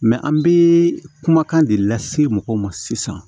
an bɛ kumakan de lase mɔgɔw ma sisan